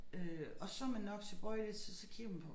Øh og så man nok tilbøjelig til så kigger man på